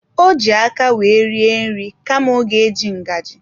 Ọ ji aka wee rie nri kama ọ ga eji ngaji.